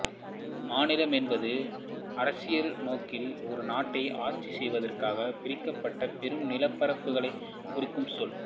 மாநிலம் என்பது அரசியல் நோக்கில் ஒரு நாட்டை ஆட்சி செய்வதற்காக பிரிக்கப்பட்ட பெரும் நிலப்பிரிவுகளைக் குறிக்கும் சொல்